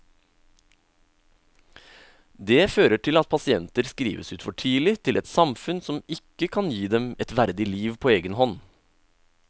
Det fører til at pasienter skrives ut for tidlig til et samfunn som ikke kan gi dem et verdig liv på egen hånd.